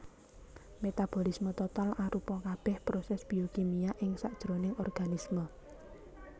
Metabolisme total arupa kabèh prosès biokimia ing sajroning organisme